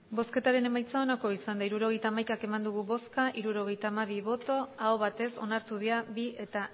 hirurogeita hamaika eman dugu bozka hirurogeita hamabi bai aho batez onartu dira bi eta